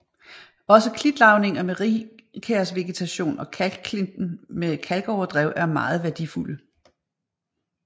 Også klitlavninger med rigkærsvegetation og kalkklinten med kalkoverdrev er meget værdifulde